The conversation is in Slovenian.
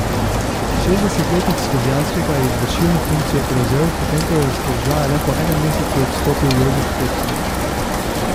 Šestdesetletnik s Kozjanskega je izvršilno funkcijo prevzel, potem ko je s položaja le po enem mesecu odstopil Jožef Petrovič.